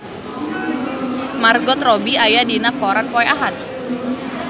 Margot Robbie aya dina koran poe Ahad